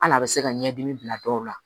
Hali a bɛ se ka ɲɛdimi bila dɔw la